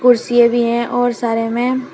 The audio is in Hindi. कुर्सियां भी हैं और सारे में--